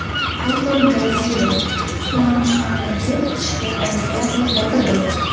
Fotogalereya: Pxyonchxandagi qishki Olimpiada yopildi.